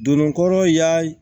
Don kɔrɔ y'a